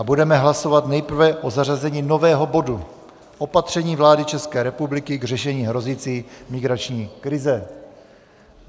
A budeme hlasovat nejprve o zařazení nového bodu - Opatření vlády České republiky k řešení hrozící migrační krize.